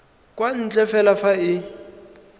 kwa ntle fela fa e